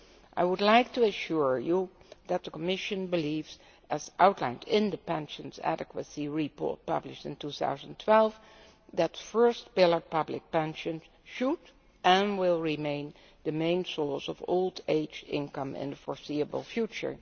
I would like to assure you that the Commission believes, as outlined in the pensions adequacy report published in 2012, that first pillar public pensions should and will remain the main source of old age income in the foreseeable future.